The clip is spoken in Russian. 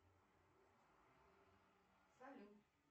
салют